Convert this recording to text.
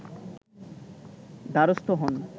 দ্বারস্থ হন